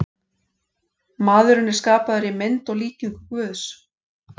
Maðurinn er skapaður í mynd og líkingu Guðs.